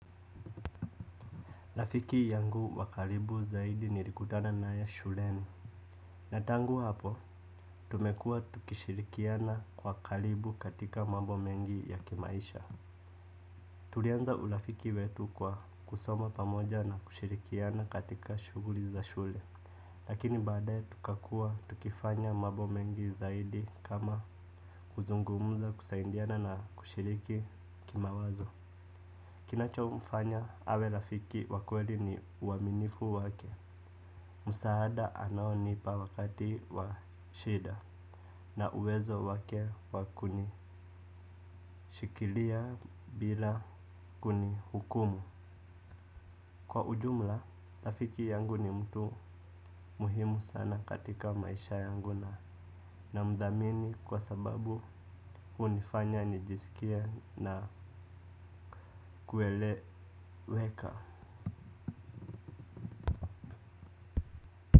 Rafiki yangu wa karibu zaidi nilikutana naye shuleni. Na tangu hapo, tumekuwa tukishirikiana kwa karibu katika mambo mengi ya kimaisha. Tulianza ulafiki wetu kwa kusoma pamoja na kushirikiana katika shughuli za shule. Lakini baadaye tukakua tukifanya mambo mengi zaidi kama kuzungumuza kusaidiana na kushiriki kimawazo. Kinachomfanya awe rafiki wa kweli ni uaminifu wake. Msaada anaonipa wakati wa shida na uwezo wake wa kunishikilia bila kunihukumu. Kwa ujumla rafiki yangu ni mtu muhimu sana katika maisha yangu na na mdhamini kwa sababu hunifanya nijisikie na kueleweka.